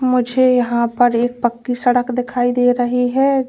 मुझे यहां पर एक पक्की सड़क दिखाई दे रही है।